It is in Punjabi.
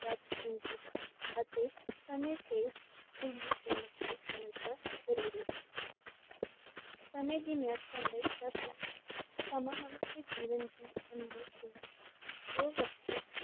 ਵੱਧ ਕੀਮਤੀ ਹੈ ਅਤੇ ਸਮੇ ਤੇ ਇਸ ਦੀ ਕੀਮਤ ਨੂੰ ਸਮਝਣਾ ਜ਼ਰੂਰੀ ਹੈ, ਸਮੇ ਦੀ ਮੇਹਤਾ ਲਈ ਸਮਾਂ ਮਨੋ ਜੀਵਨ ਦੀ ਅਨਮੋਲ ਕੁੰਜੀ ਹੈ ਜੋ ਵਿਯਕਤੀ